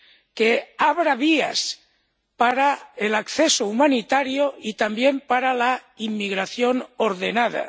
que abra vías para el acceso humanitario y también para la inmigración ordenada